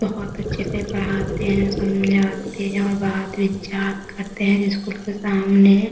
बहुत अच्छे से पढ़ाते है समझाते है और बात-विचार करते है जिस स्कूल के सामने --